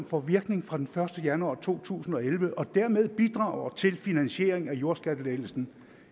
får virkning fra den første januar to tusind og elleve og dermed bidrager til finansiering af jordskattelettelsen